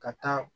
Ka taa